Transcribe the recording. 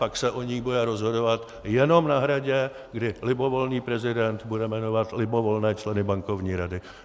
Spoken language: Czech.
Pak se o ní bude rozhodovat jenom na Hradě, kdy libovolný prezident bude jmenovat libovolné členy Bankovní rady.